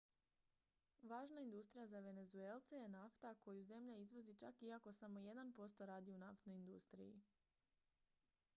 važna industrija za venezuelce je nafta koju zemlja izvozi čak iako samo jedan posto radi u naftnoj industriji